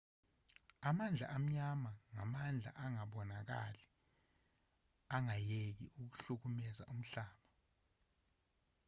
amandla amnyama ngamandla angabonakali angayeki ukuhlukumeza umhlaba